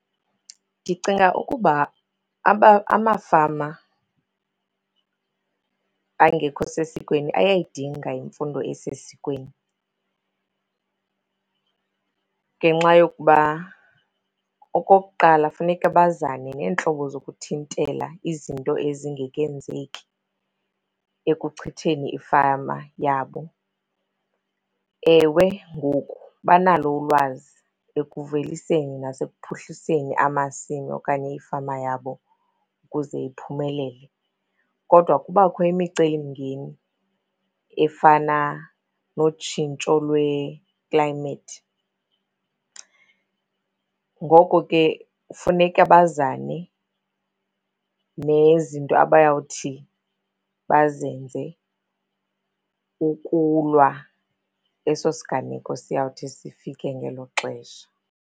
Ndicinga ukuba amafama angekho sesikweni ayayidinga imfundo esesikweni ngenxa yokuba okokuqala, funeka bazane neentlobo zokuthintela izinto ezingekenzeki ekuchitheni ifama yabo. Ewe, ngoku banalo ulwazi ekuveliseni nasekuphuhliseni amasimi okanye ifama yabo ukuze iphumelele kodwa kubakho imicelimngeni efana notshintsho lweklayimethi. Ngoko ke kufuneka bazane nezinto abayawuthi bazenze ukulwa eso siganeko siyawuthi sifike ngelo xesha.